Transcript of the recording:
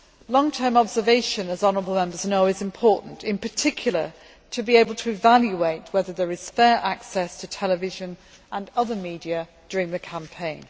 Long term observation is important, in particular to be able to evaluate whether there is fair access to television and other media during the campaign.